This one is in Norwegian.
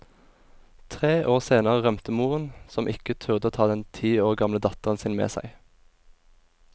Tre år senere rømte moren, som ikke turde å ta den ti år gamle datteren sin med seg.